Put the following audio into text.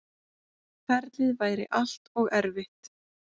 Ferlið væri allt og erfitt.